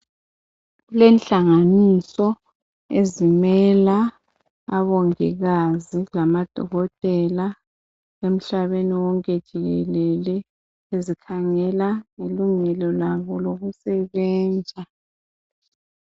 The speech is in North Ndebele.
Kulenhlanganiso ezimela abongikazi lamadokotela emhlabeni wonke jikelele ezikhangela ngelungelo labo lokusebenza.